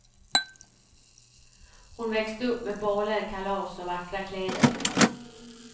Hon växte upp med baler, kalas och vackra kläder.